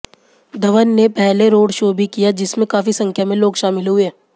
धवन ने पहले road show भी किया जिसमें काफी संख्या में लोग शामिल हुए